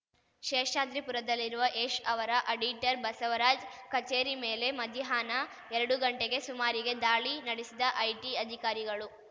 ಶೇಷಾದ್ರಿಪುರದಲ್ಲಿರುವ ಯಶ್‌ ಅವರ ಅಡಿಟರ್ ಬಸವರಾಜ್‌ ಕಚೇರಿ ಮೇಲೆ ಮಧ್ಯಾಹ್ನ ಎರಡುಗಂಟೆಗೆ ಸುಮಾರಿಗೆ ದಾಳಿ ನಡೆಸಿದ ಐಟಿ ಅಧಿಕಾರಿಗಳು